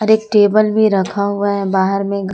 एक टेबल भी रखा हुआ है बाहर में।